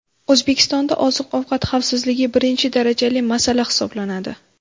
O‘zbekistonda oziq-ovqat xavfsizligi birinchi darajali masala hisoblanadi.